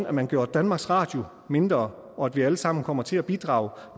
at man gjorde danmarks radio mindre og at vi alle sammen kom til at bidrage